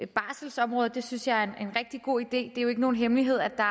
barselsområdet det synes jeg er en rigtig god idé er jo ikke nogen hemmelighed at der